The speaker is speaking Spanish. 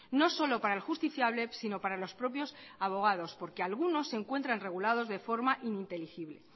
no solo para el justiciable si no para los propios abogados porque algunos se encuentran regulados de forma ininteligible